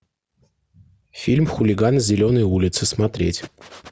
фильм хулиганы зеленой улицы смотреть